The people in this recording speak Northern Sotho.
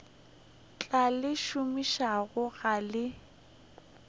tla le šomišago ga le